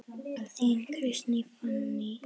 Þín, Kristín Fanný.